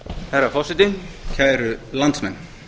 herra forseti kæru landsmenn